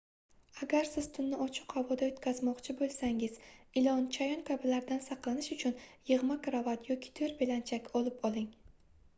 agar siz tunni ochiq havoda oʻtkazmoqchi boʻlsangiz ilon chayon kabilardan saqlanish uchun yigʻma krovat yoki toʻr belanchak olib oling